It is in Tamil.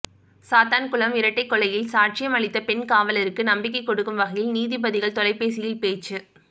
சாத்தான்குளம் இரட்டைக்கொலையில் சாட்சியம் அளித்த பெண் காவலருக்கு நம்பிக்கை கொடுக்கும் வகையில் நீதிபதிகள் தொலைபேசியில் பேச்சு